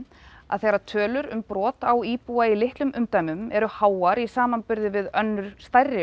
að þegar tölur um brot á íbúa í litlum umdæmum eru háar í samanburði við önnur stærri